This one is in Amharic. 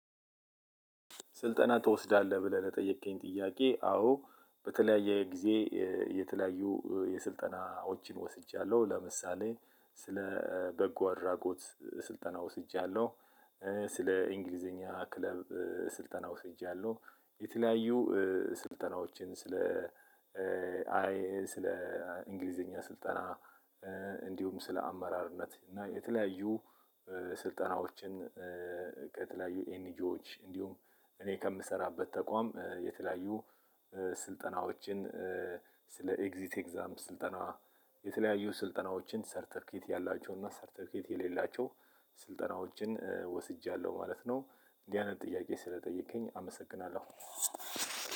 ስልጠና ትወስዳለህ ብለህ ለጠየከኝ ጥያቄ? አዎ በተለያየ ጊዜ የተለያዩ የስልጠናዎችን ወስጃለሁ ለምሳሌ ስለ በጎ አድራጎት ስልጠና ወስጃለሁ። ስለ እንግሊዘኛ ክለብ ስልጠና ወስጃለሁ። የተለያዩ ስልጠናዎችን ስለ ስለ እንግሊዘኛ ስልጠና። እንዲሁም ስለ አመራርነት እና የተለያዩ ስልጠናዎችን ከተለያዩ ኤንጂዎች እንዲሁም እኔ ከምሰራበት ተቋም የተለያዩ ስልጠናዎችን ስለ ኤግዚት ኤግዛምፕል ስልጠና የተለያዩ ስልጠናዎችን ሰርተፊኬት ያላቸው እና ሰርተፊኬት የሌላቸው ስልጠናዎችን ወስጃለሁ ማለት ነው። እንዲህ አይነት ጥያቄ ስለጠየከኝ አመሰግናለሁ።